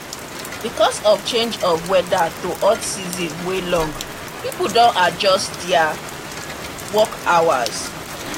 because of change of of weather to hot season wey long people don adjust their work hours